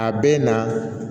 A bɛ na